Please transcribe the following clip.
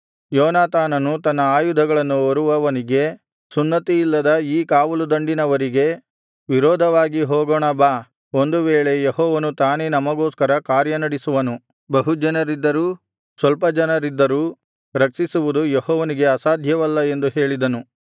ಯೋನಾತಾನನು ತನ್ನ ಆಯುಧಗಳನ್ನು ಹೊರುವವನಿಗೆ ಸುನ್ನತಿಯಿಲ್ಲದ ಈ ಕಾವಲುದಂಡಿನವರಿಗೆ ವಿರೋಧವಾಗಿ ಹೋಗೋಣ ಬಾ ಒಂದು ವೇಳೆ ಯೆಹೋವನು ತಾನೇ ನಮಗೋಸ್ಕರ ಕಾರ್ಯನಡಿಸುವನು ಬಹು ಜನರಿದ್ದರೂ ಸ್ವಲ್ಪ ಜನರಿದ್ದರೂ ರಕ್ಷಿಸುವುದು ಯೆಹೋವನಿಗೆ ಅಸಾಧ್ಯವಲ್ಲ ಎಂದು ಹೇಳಿದನು